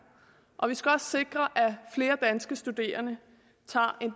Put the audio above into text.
og vi skal også sikre at flere danske studerende tager en